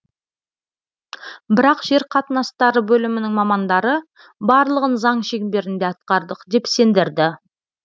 бірақ жер қатынастары бөлімінің мамандары барлығын заң шеңберінде атқардық деп сендірді